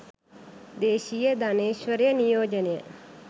දේශීය ධනේශ්වරය නියෝජනය